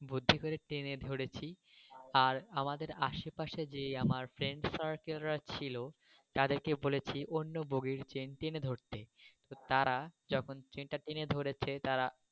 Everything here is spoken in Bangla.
বুদ্ধি করে টেনে ধরেছি আর আমার আশেপাশে যে আমার ফ্রেন্ড circle রা ছিল তাদের কে বলেছি অন্য বোগ্গির চেন টেনে ধরতে তো তারা যখন চেন টা টেনে ধরেছে তারা।